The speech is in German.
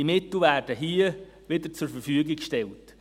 Die Mittel werden hier wieder zur Verfügung gestellt.